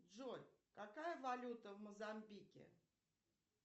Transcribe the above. джой какая валюта в мозамбике